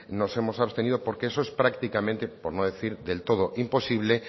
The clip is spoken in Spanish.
nos hemos abstenido porque eso es prácticamente por no decir del todo imposible